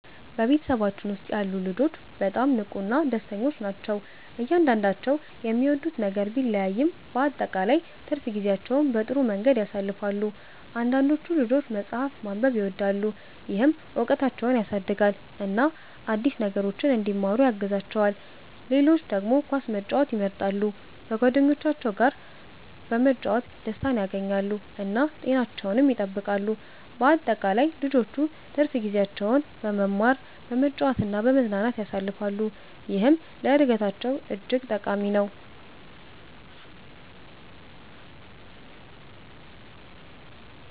በቤተሰባችን ውስጥ ያሉ ልጆች በጣም ንቁና ደስተኞች ናቸው። እያንዳንዳቸው የሚወዱት ነገር ቢለያይም በአጠቃላይ ትርፍ ጊዜያቸውን በጥሩ መንገድ ያሳልፋሉ። አንዳንዶቹ ልጆች መጽሐፍ ማንበብን ይወዳሉ፣ ይህም እውቀታቸውን ያሳድጋል እና አዲስ ነገሮችን እንዲማሩ ያግዛቸዋል። ሌሎች ደግሞ ኳስ መጫወትን ይመርጣሉ፣ በጓደኞቻቸው ጋር በመጫወት ደስታን ያገኛሉ እና ጤናቸውንም ይጠብቃሉ። በአጠቃላይ ልጆቹ ትርፍ ጊዜያቸውን በመማር፣ በመጫወት እና በመዝናናት ያሳልፋሉ፣ ይህም ለእድገታቸው እጅግ ጠቃሚ ነው።